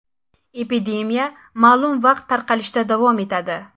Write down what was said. Epidemiya ma’lum vaqt tarqalishda davom etadi”.